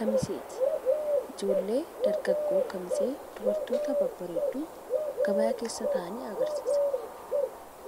Kamiseeti. Ijoollee dargaggoo Walloo Oromoo Kamisee babareedoo kan ta'anii gabaa keessa jiranii dha.